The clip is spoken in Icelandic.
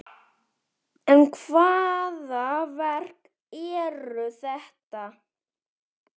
En hvaða verk eru þetta?